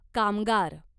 कामगार